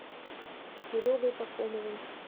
серегой пахомовым